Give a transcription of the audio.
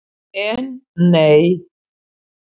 En, nei!